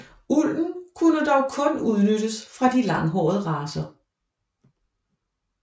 Ulden kunne dog kun udnyttes fra de langhårede racer